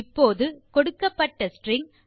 இப்போது கொடுக்கப்பட்ட ஸ்ட்ரிங்